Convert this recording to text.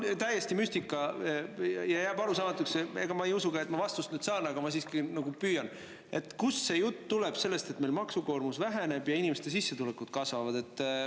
Täiesti müstika on see ja jääb arusaamatuks – ega ma ei usu, et ma sellele vastuse saan, aga ma siiski püüan –, kust tuleb see jutt, et meil maksukoormus väheneb ja inimeste sissetulekud kasvavad.